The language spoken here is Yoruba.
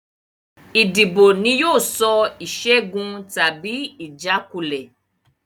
Ìdìbò ni yóò sọ ìṣẹ́gun tàbí ìjákulẹ̀